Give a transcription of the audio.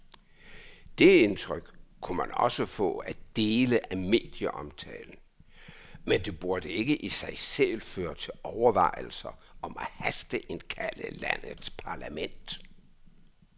Det indtryk kunne man også få af dele af medieomtalen, men det burde ikke i sig selv føre til overvejelser om at hasteindkalde landets parlament.